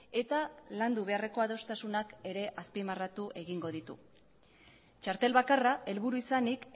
eta landu beharreko adostasunak ere azpimarratu egingo ditu txartel bakarra helburu izanik